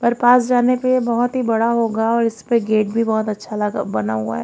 और पास जाने पे बहोत ही बड़ा होगा और इस पे गेट भी बहोत अच्छा लगा बना हुआ है।